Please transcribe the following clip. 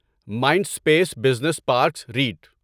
mind space business parks rate